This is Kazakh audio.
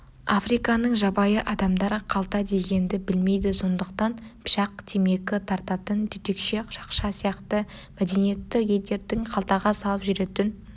африканың жабайы адамдары қалта дегенді білмейді сондықтан пышақ темекі тартатын түтікше шақша сияқты мәдениетті елдердің қалтаға салып жүретін